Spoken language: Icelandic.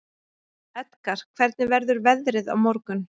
Edgar, hvernig verður veðrið á morgun?